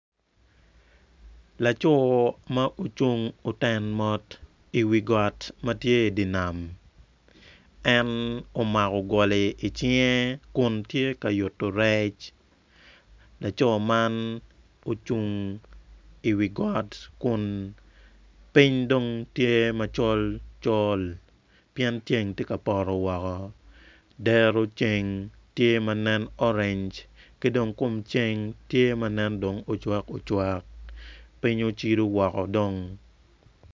Laco ma ocung oten mot iwi got ma tye idi nam en omako goli icinge kun tye ka yuto rec laco man ocung iwi got kun piny dong tye macol col pien ceng tye ka poto woko dero ceng tye ma nen orange ki dong kom ceng tye ma nen dong ocwakocwak piny ocido woko dong.